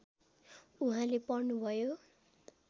उहाँले पढ्नुभयो